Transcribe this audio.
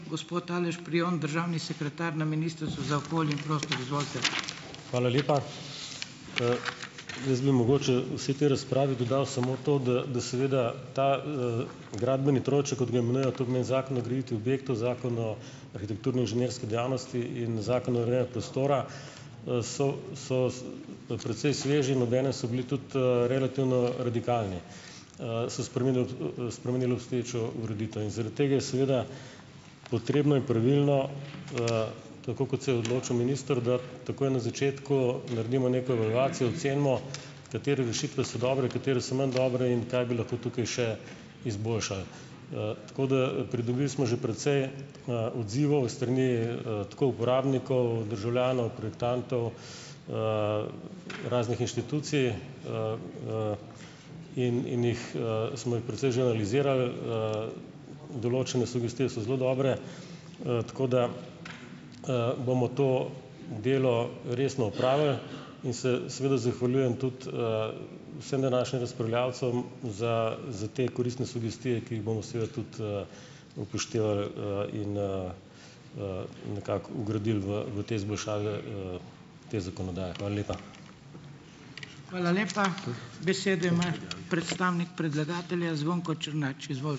Hvala lepa. jaz bi mogoče vsaj tej razpravi dodal samo to, da da seveda ta, gradbeni trojček, kot ga imenujejo, to pomeni Zakon o graditvi objektov, Zakon o arhitekturno inženirski dejavnosti in Zakon o prostora - so so precej sveži in obenem so bili tudi relativno radikalni. so spreminjali, spreminjali obstoječo ureditev. In zaradi tega je seveda potrebno in pravilno, tako kot se je odločil minister, da takoj na začetku naredimo neko oceno, katere rešitve so dobre, katere so manj dobre in kaj bi lahko tukaj še izboljšali. tako da - pridobili smo že precej, odzivov iz strani, tako uporabnikov, državljanov, projektantov, raznih inštitucij, in in jih, smo jih precej že analiziral. določene sugestije so zelo dobre, tako da, bomo to delo resno opravili in se seveda zahvaljujem tudi, vsem današnjim razpravljavcem za za te koristne sugestije, ki jih bomo seveda tudi, upoštevali, in, nekako vgradili v v te izboljšave, te zakonodaje. Hvala lepa.